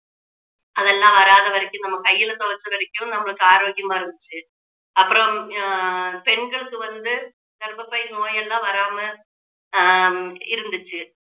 அதெல்லாம் வராத வரைக்கும் நம்ம கையில துவைச்ச வரைக்கும் நம்மளுக்கு ஆரோக்கியமா இருந்துச்சு அப்புறம் ஆஹ் பெண்களுக்கு வந்து கர்ப்பப்பை நோய் எல்லாம் வராம ஆஹ் இருந்துச்சு